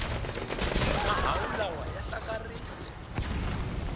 mahawu lawa ya hlakarile